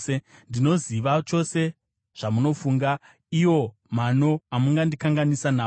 “Ndinoziva chose zvamunofunga, iwo mano amungandikanganisa nawo.